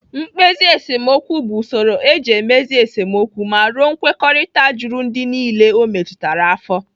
Mkpezi esemokwu bụ usoro eji emezi esemokwu ma ruo nkwekọrịta juru ndị niile o metụtara afọ.